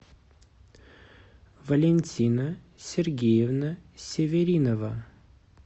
валентина сергеевна северинова